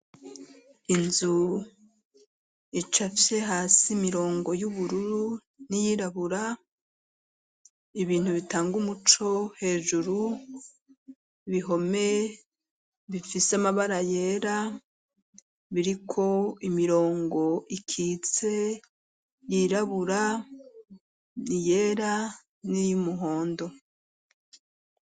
Inzu icafye hasi imirongo y'ubururu n'iyirabura ibintu bitanga umuco hejuru kubihome bifise amabara yera biriko imirongo ikitse yirabura iyera n'iy'umuhondo.